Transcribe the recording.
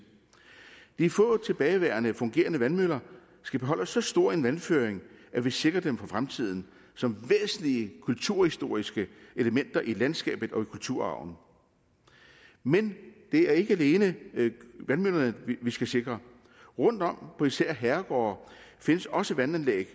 de få tilbageværende fungerende vandmøller skal beholde så stor en vandføring at vi sikrer dem for fremtiden som væsentlige kulturhistoriske elementer i landskabet og i kulturarven men det er ikke alene vandmøllerne vi skal sikre rundtom på især herregårde findes også vandanlæg